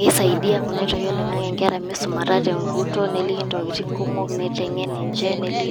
Kisaidia kunoitoi oloing'ang'e inkera misumata teguton, neliki ntokitin kumok. Niteng'en ninche.